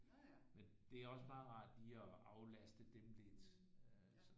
Men det er også meget rart lige at aflaste dem lidt så